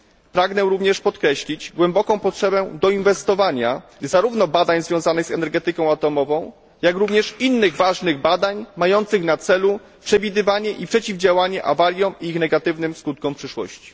Pragnę również podkreślić głęboką potrzebę doinwestowania zarówno badań związanych z energetyką atomową, jak i innych ważnych badań mających na celu przewidywanie i przeciwdziałanie awariom i ich negatywnym skutkom w przyszłości.